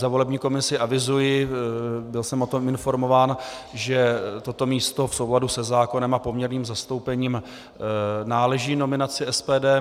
Za volební komisi avizuji, byl jsem o tom informován, že toto místo v souladu se zákonem a poměrným zastoupením náleží nominaci SPD.